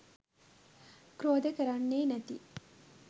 ක්‍රෝධ කරන්නෙ නැති